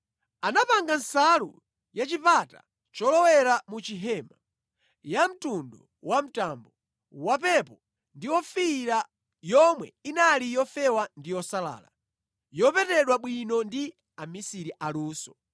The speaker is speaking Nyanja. Anapanga nsalu ya pa chipata cholowera mu chihema, yamtundu wamtambo, wapepo ndi ofiira yomwe inali yofewa ndi yosalala, yopetedwa bwino ndi amisiri aluso.